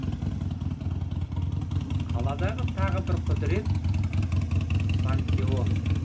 қаладағы тағы бір құдірет пантеон